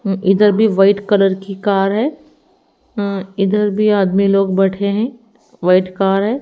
उम्म इधर भी white colour की कार है अह इधर भी आदमी लोग बैठे हैं व्हाईट कार है।